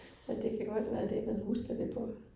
Men det kan godt være det, man husker det på